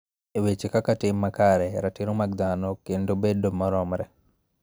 E weche kaka tim makare, ratiro mag dhano, kod bedo maromre.